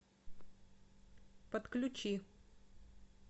подключи